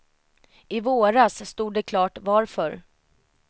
I våras stod det klart varför.